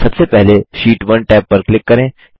सबसे पहले sheet 1 tab पर क्लिक करें